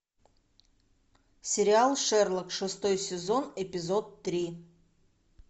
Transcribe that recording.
сериал шерлок шестой сезон эпизод три